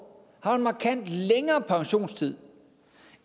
har en markant længere pensionstid